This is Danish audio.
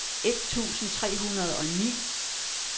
et tusind tre hundrede og ni